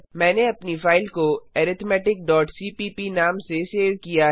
मैंने अपनी फाइल को arithmeticसीपीप नाम से सेव किया है